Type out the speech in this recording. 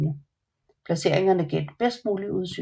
Placeringerne gav det bedst mulige udsyn